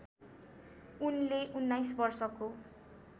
उनले १९ वर्षको